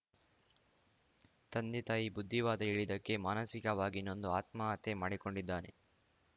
ತಂದೆ ತಾಯಿ ಬುದ್ಧಿವಾದ ಹೇಳಿದಕ್ಕೆ ಮಾನಸಿಕವಾಗಿ ನೊಂದು ಆತ್ಮಹತ್ಯೆ ಮಾಡಿಕೊಂಡಿದ್ದಾನೆ